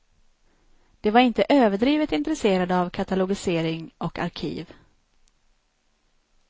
De var inte överdrivet intresserade av katalogisering och arkiv.